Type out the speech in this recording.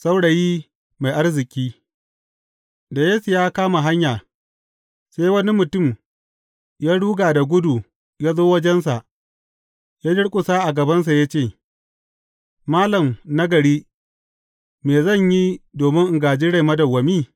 Saurayi mai arziki Da Yesu ya kama hanya, sai wani mutum ya ruga da gudu ya zo wajensa, ya durƙusa a gabansa ya ce, Malam nagari, me zan yi domin in gāji rai madawwami?